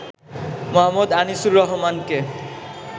মো. আনিসুর রহমানকে।